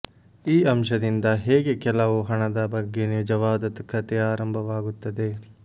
ಈ ಅಂಶದಿಂದ ಹೇಗೆ ಕೆಲವು ಹಣದ ಬಗ್ಗೆ ನಿಜವಾದ ಕಥೆ ಆರಂಭವಾಗುತ್ತದೆ